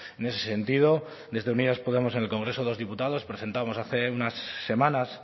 en ese sentido desde unidas podemos en el congreso de los diputados presentamos hace unas semanas